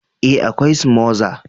eh, akwai smother